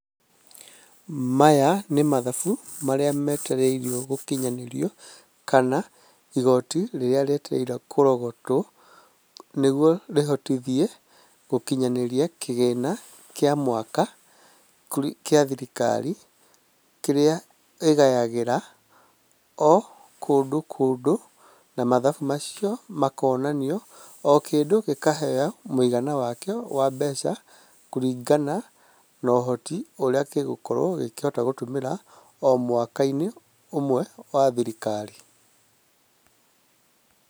Maya nĩ mathabu marĩa metereirio gũkinyanĩrio, kana igoti rĩrĩa rĩetereirwo kũrogotwo nĩguo rĩhotithie gũkinyanĩria kĩgĩna kĩa mwaka gĩa thirikari, kĩrĩa ĩgayagĩra o kũndũ kũndũ na mathabu macio makonanio o kĩndũ gĩkaheo mũigana wakĩo wa mbeca kũringana na ũhoti ũrĩa gĩgũkorwo gĩkũhota gũtũmĩra o mwaka- inĩ ũmwe wa thirikari.